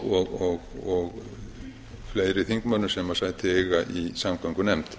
og fleiri háttvirtum þingmönnum sem sæti eiga í samgöngunefnd